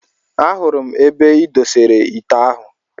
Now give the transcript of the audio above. Ahụrụ m ebe I doteere m ite ahụ